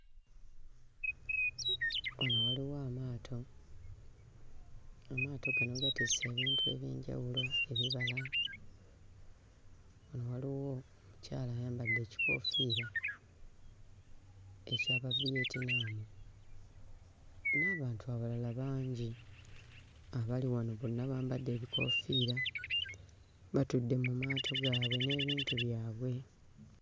Wano waliwo amaato, amaato gano gatisse ebintu eby'enjawulo ebibala. Wano waliwo omukyala ayambadde ekikoofiira eky'Abaviyentinaamu n'abantu abalala bangi abali wano, bonna bambadde ebikoofiira, batudde mu maato gaabwe n'ebintu byabwe.